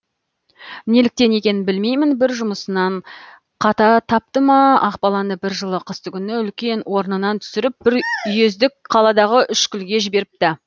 неліктен екенін білмеймін бір жұмысынан қата тапты ма ақбаланы бір жылы қыстыгүні үлкен орнынан түсіріп бір үйездік қаладағы үшкілге жіберіпті